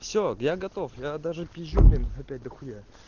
все я готов я даже пижю блин опять дохуя